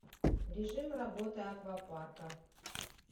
режим работы аквапарка